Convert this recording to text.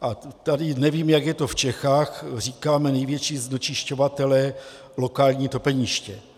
A tady - nevím, jak je to v Čechách - říkáme: největší znečišťovatelé - lokální topeniště.